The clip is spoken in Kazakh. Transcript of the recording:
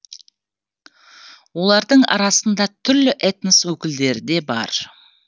олардың арасында түрлі этнос өкілдері де бар